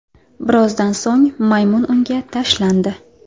Birozdan so‘ng maymun unga tashlandi.